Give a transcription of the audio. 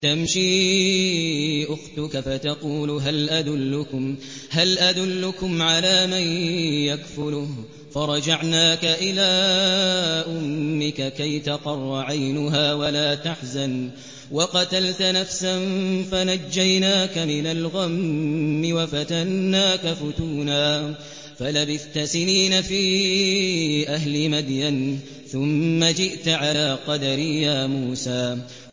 إِذْ تَمْشِي أُخْتُكَ فَتَقُولُ هَلْ أَدُلُّكُمْ عَلَىٰ مَن يَكْفُلُهُ ۖ فَرَجَعْنَاكَ إِلَىٰ أُمِّكَ كَيْ تَقَرَّ عَيْنُهَا وَلَا تَحْزَنَ ۚ وَقَتَلْتَ نَفْسًا فَنَجَّيْنَاكَ مِنَ الْغَمِّ وَفَتَنَّاكَ فُتُونًا ۚ فَلَبِثْتَ سِنِينَ فِي أَهْلِ مَدْيَنَ ثُمَّ جِئْتَ عَلَىٰ قَدَرٍ يَا مُوسَىٰ